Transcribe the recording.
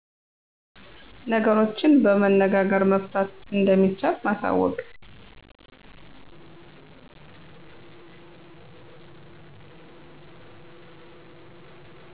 ነገሮችን በመነጋገር መፍታት እንደሚቻል ማሳወቅ